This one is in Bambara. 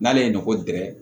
N'ale ye nɔkɔ dingɛ